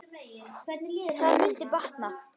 Það mundi batna.